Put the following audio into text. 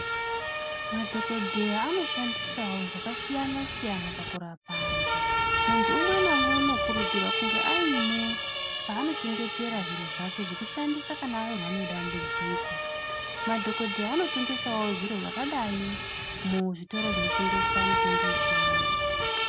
Madhokodheya anoshandisao zvakasiyana siyana pakurapa anthu munthu umwe naumwe unokurudzirwa kunge aine paanochengetera zviro zvake zvekushandisa kana awirwa nedambudziko madhokodheya anotengesao zviro zvakadai muzvitoro zvinotengesa mitombo yechiyungu.